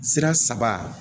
Sira saba